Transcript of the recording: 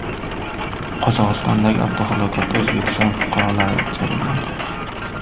Qozog‘istondagi avtohalokatda O‘zbekiston fuqarolari jabrlandi.